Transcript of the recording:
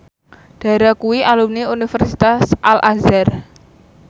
Dara kuwi alumni Universitas Al Azhar